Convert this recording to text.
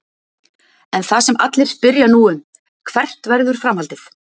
En það sem allir spyrja nú um: Hvert verður framhaldið?